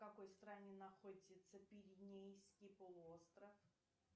в какой стране находится пиренейский полуостров